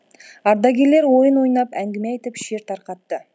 ардагерлер ойын ойнап әңгіме айтып шер тарқатты